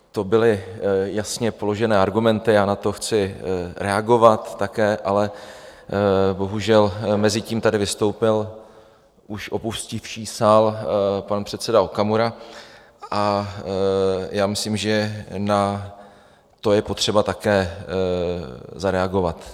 To byly jasně položené argumenty, já na to chci reagovat také, ale bohužel mezitím tady vystoupil už opustivší sál pan předseda Okamura a já myslím, že na to je potřeba také zareagovat.